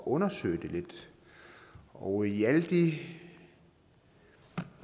undersøge det lidt og i alle de